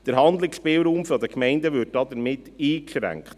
Der Handlungsspielraum der Gemeinden würde damit eingeschränkt.